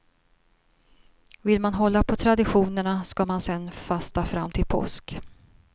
Vill man hålla på traditionerna skall man sen fasta fram till påsk.